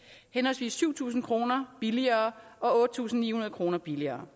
henholdsvis syv tusind kroner billigere og otte tusind ni hundrede kroner billigere